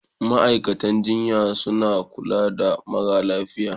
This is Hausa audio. Ma'aikatan jinya suna kula da marasa lafiya.